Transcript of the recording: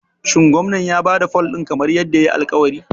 Shin Gwamnan ya ba da fol ɗin kamar yadda yayi alƙawari?